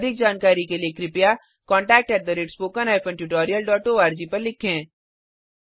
अधिक जानकारी के लिए कृपया contactspoken tutorialorg पर लिखें